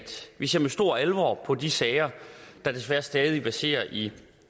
vi ser med stor alvor på de sager der desværre stadig verserer i